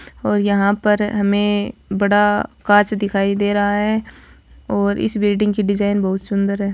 और यहां पर हमें बड़ा कांच दिखाई दे रहा है और इस बिल्डिंग की डिजाइन बहुत सुंदर है।